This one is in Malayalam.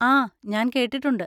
ആ, ഞാൻ കേട്ടിട്ടുണ്ട്.